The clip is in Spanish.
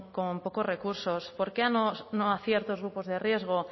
con pocos recursos por qué no a ciertos grupos de riesgo